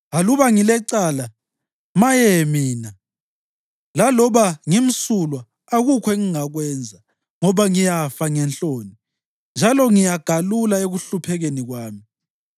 Aluba ngilecala, maye mina! Laloba ngimsulwa, akukho engingakwenza, ngoba ngiyafa ngenhloni njalo ngiyagalula ekuhluphekeni kwami.